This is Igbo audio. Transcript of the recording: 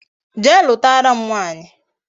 Jee lutara m nwaanyi